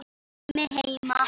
Sæmi heima!